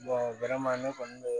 ne kɔni bɛ